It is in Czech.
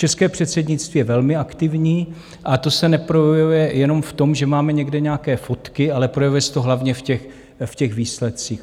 České předsednictví je velmi aktivní a to se neprojevuje jenom v tom, že máme někde nějaké fotky, ale projevuje se to hlavně v těch výsledcích.